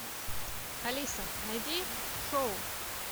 алиса найди шоу